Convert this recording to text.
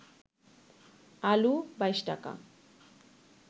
আলু ২২ টাকা